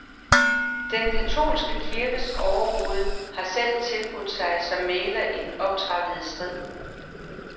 Den katolske kirkes overhoved har selv tilbudt sig som mægler i den optrappede strid.